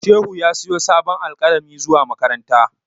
Shehu ya siyo sabon alƙalami zuwa makaranta.